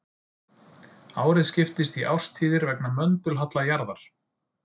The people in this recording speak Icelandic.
Árið skiptist í árstíðir vegna möndulhalla jarðar.